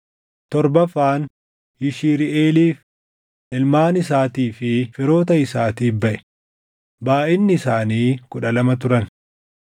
torbaffaan Yishiriʼeeliif, // ilmaan isaatii fi firoota isaatiif baʼe; // baayʼinni isaanii kudha lama turan